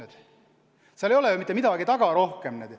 Seal taga ei ole mitte midagi rohkemat.